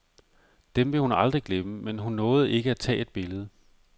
Dem vil hun aldrig glemme, men hun nåede ikke at ta et billede.